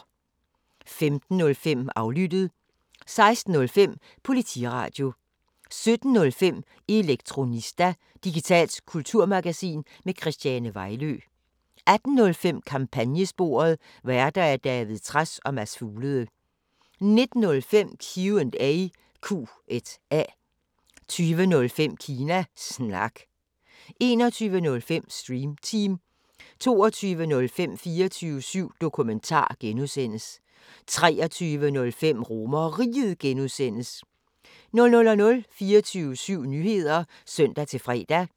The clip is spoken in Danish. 15:05: Aflyttet 16:05: Politiradio 17:05: Elektronista – digitalt kulturmagasin med Christiane Vejlø 18:05: Kampagnesporet: Værter: David Trads og Mads Fuglede 19:05: Q&A 20:05: Kina Snak 21:05: Stream Team 22:05: 24syv Dokumentar (G) 23:05: RomerRiget (G) 00:00: 24syv Nyheder (søn-fre)